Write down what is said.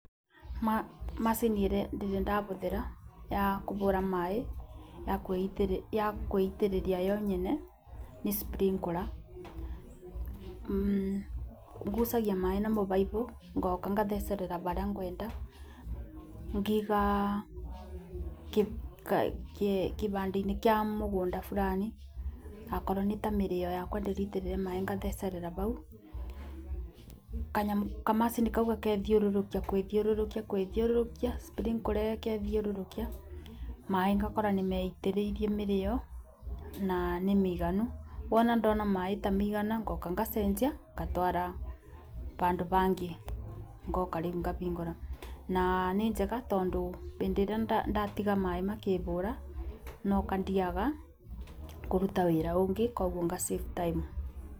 Macini ĩrĩa ndĩrĩ ndabũthĩra ya kũbũra maĩ ya gũitĩrĩria yo yenyene nĩ sprinkler, ngucagia maĩ na mũbaibũ ngoka ngathecerera barĩa ngwenda kĩbanda inĩ kia mugunda fulani, akorwo nita mĩrĩo yakwa ndĩraitĩrĩria maĩ ngathecerera bau, kamachini kau gagethiũrũrũkia gũĩthiũrũrũkia gũĩthiũrũrũkia sprinkler ĩgethiũrũrũkia maĩ ngakora nĩmeitĩrĩirie mĩrĩo na nĩ mĩiganu wona ndona maĩ tamaigana ngoka ngacenjia ngatwara bandũ bangi, ngoka rĩu ngabĩngũra na nĩ njega tondũ hĩndĩ ĩrĩa ndatiga maĩ makĩbũra no ngathiaga kũruta wĩra ũngĩ kwoguo nga [c]save time